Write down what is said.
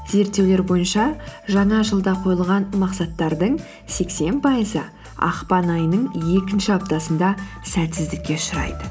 зерттеулер бойынша жаңа жылда қойылған мақсаттардың сексен пайызы ақпан айының екінші аптасында сәтсіздікке ұшырайды